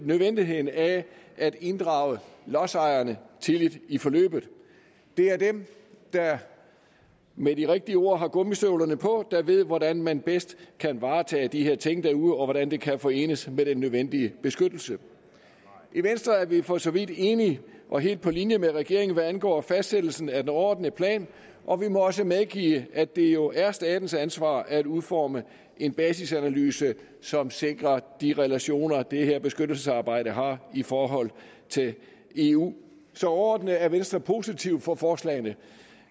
nødvendigheden af at inddrage lodsejerne tidligt i forløbet det er dem der med de rigtige ord har gummistøvlerne på der ved hvordan man bedst kan varetage de her ting derude og hvordan det kan forenes med den nødvendige beskyttelse i venstre er vi for så vidt enige og helt på linje med regeringen hvad angår fastsættelsen af den overordnede plan og vi må også medgive at det jo er statens ansvar at udforme en basisanalyse som sikrer de relationer det her beskyttelsesarbejde har i forhold til eu så overordnet er venstre positiv over for forslagene